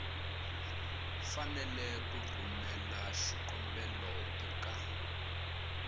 fanele ku rhumela xikombelo eka